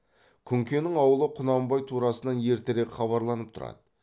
күнкенің аулы құнанбай турасынан ертерек хабарланып тұрады